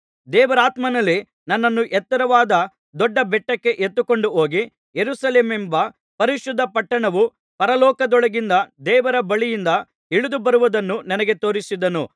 ದೇವರಾತ್ಮನಲ್ಲಿ ನನ್ನನ್ನು ಎತ್ತರವಾದ ದೊಡ್ಡ ಬೆಟ್ಟಕ್ಕೆ ಎತ್ತಿಕೊಂಡು ಹೋಗಿ ಯೆರೂಸಲೇಮೆಂಬ ಪರಿಶುದ್ಧ ಪಟ್ಟಣವು ಪರಲೋಕದೊಳಗಿಂದ ದೇವರ ಬಳಿಯಿಂದ ಇಳಿದುಬರುವುದನ್ನು ನನಗೆ ತೋರಿಸಿದನು